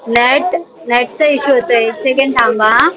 lightlight चा issue होतोय एक second थांबा हा